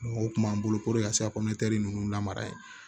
O kun b'an bolo puruke ka se ka ninnu lamara yen